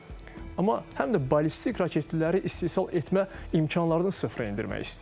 Amma həm də ballistik raketləri istehsal etmə imkanlarını sıfıra endirmək istəyir.